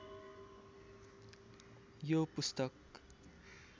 यो पुस्तक